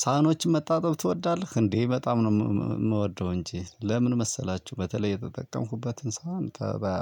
ሰሃኖችን መታጠብ ትወዳለህ እንዴ? እንዴ! በጣም ነው የምወደው እንጂ። ለምን መሰላችሁ፣ በተለይ የተጠቀምኩበትን ሰሃን